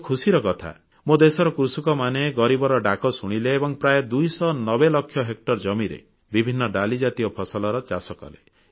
ବହୁତ ଖୁସିର କଥା ମୋ ଦେଶର କୃଷକମାନେ ଗରିବର ଡାକ ଶୁଣିଲେ ଏବଂ ପ୍ରାୟ ଦୁଇଶହ ନବେ ଲକ୍ଷ ହେକ୍ଟର ଜମିରେ ବିଭିନ୍ନ ଡାଲି ଜାତୀୟ ଫସଲର ଚାଷ କଲେ